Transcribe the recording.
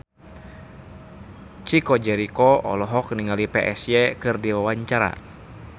Chico Jericho olohok ningali Psy keur diwawancara